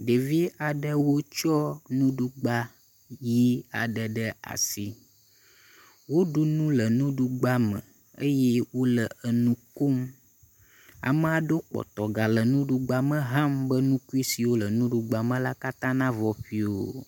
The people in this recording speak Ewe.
Ɖevi aɖewo tsɔ nuɖugba ʋɛ̃ aɖewo ɖe asi, woɖu nu le nuɖugba me eye wole enu kom. Amea ɖewo kpɔtɔ gale nuɖugba me ham be nukui siwo le nuɖugba me la katã navɔ ƒio.